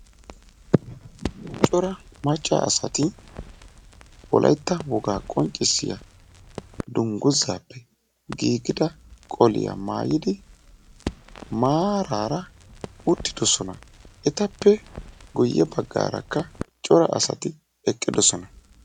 Cora macca asati wolaytta wogaa qonccisiyaa dunguzaappe giigida qoliyaa maayidi maarara uttidosona. etappe guye baggaarakka cora asati eqqidosona.